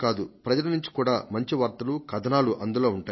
ప్రజల నుంచి కూడా మంచి వార్తలు కథనాలు అందులో ఉంటాయి